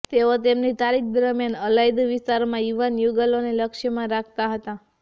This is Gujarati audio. તેઓ તેમની તારીખ દરમિયાન અલાયદું વિસ્તારોમાં યુવાન યુગલોને લક્ષ્યમાં રાખતા હતા